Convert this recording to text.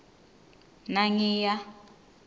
nangiya